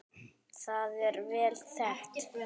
Það er vel þekkt.